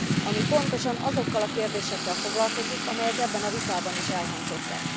ami pontosan azokkal a kérdésekkel foglalkozik, amelyek ebben a vitában is elhangzottak.